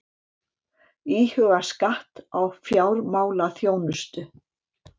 Íhuga skatt á fjármálaþjónustu